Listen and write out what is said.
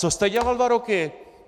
Co jste dělal dva roky?